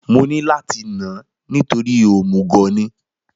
Mo ní láti nà án nítorí òmùgọ̀ ni